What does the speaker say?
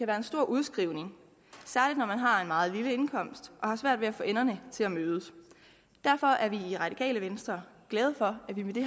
være en stor udskrivning særlig når man har en meget lille indkomst og har svært ved at få enderne til at mødes og derfor er vi i radikale venstre glade for at vi med det